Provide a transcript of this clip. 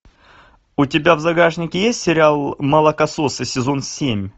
у тебя в загашнике есть сериал молокососы сезон семь